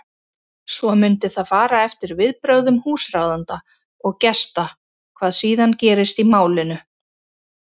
Svo mundi það fara eftir viðbrögðum húsráðenda og gesta hvað síðan gerist í málinu.